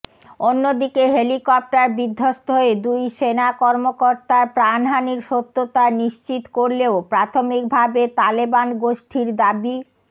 অন্যদিকে হেলিকপ্টার বিধ্বস্ত হয়ে দুই সেনা কর্মকর্তার প্রাণহানির সত্যতা নিশ্চিত করলেও প্রাথমিকভাবে তালেবান গোষ্ঠীর দাবি